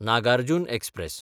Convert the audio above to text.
Nagarjun express